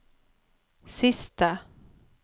siste